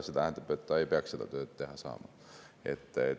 See tähendab, et ta ei peaks seda tööd teha saama.